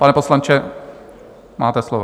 Pane poslanče, máte slovo.